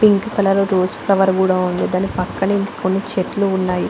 Pink colour rose flower కూడా ఉంది దాని పక్కనే చెట్లు కూడా ఉన్నాయి.